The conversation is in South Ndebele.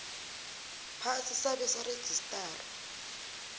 phasi sabe sarejistarwa